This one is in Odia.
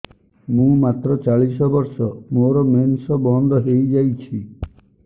ମୁଁ ମାତ୍ର ଚାଳିଶ ବର୍ଷ ମୋର ମେନ୍ସ ବନ୍ଦ ହେଇଯାଇଛି